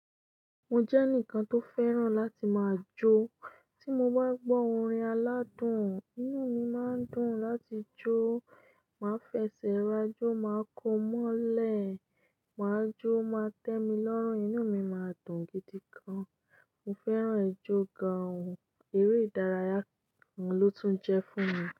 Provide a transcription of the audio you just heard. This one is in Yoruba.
Mo jẹ́ ẹnìkan tó fẹ́ràn láti máa jó. Tí mo bá gbọ́ orin aládùn, inú mi máa ń dùn láti jó. Màá fẹsẹ̀ ra jó máa kó mọ́lẹ̀, máa jó o máa tẹ́mi lọ́rùn, inú mi máa dùn gidi gan. Mo fẹ́ràn ijó gan-an, eré ìdárayá oun ló tún jẹ́ fún mi.